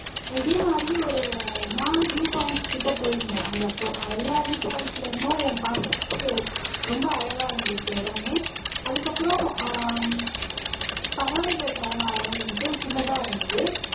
இதே மாதிரி ஒரு நாலு வியூவ் பாய்ண்ட்ஸ் கிட்ட போயிருந்தோம் அங்க பொ எல்லா வியூவ் பய்ண்ட்ல இருந்தும் பாக்கூறதுக்கு ரொம்ப அழகா இருந்துச்சு இடமே அதுக்கு அப்பறம் அஹ் பறவைகள் சரணாலயனுட்டு சின்னதா இருந்துது